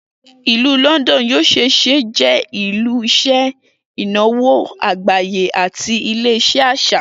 Ilu Lọndọnu yoo ṣee ṣe jẹ ile-iṣẹ inawo agbaye ati ile-iṣẹ aṣa.